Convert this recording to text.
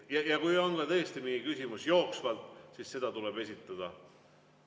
Ja kui on tõesti mingi küsimus jooksvalt, siis see tuleb esitada.